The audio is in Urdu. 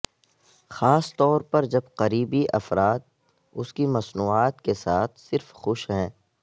خاص طور پر جب قریبی افراد اس کی مصنوعات کے ساتھ صرف خوش ہیں